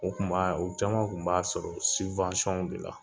O kun ma u caman kun b'a sɔrɔ de la.